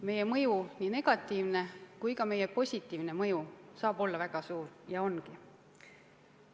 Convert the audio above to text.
Meie mõju, nii negatiivne kui ka positiivne mõju, saab olla väga suur ja ongi.